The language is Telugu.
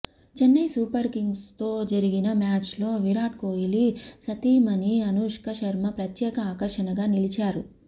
చైన్నై సూపర్ కింగ్స్తో జరిగిన మ్యాచ్లో విరాట్ కోహ్లీ సతీమణి అనుష్క శర్మ ప్రత్యేక ఆకర్షణగా నిలిచారు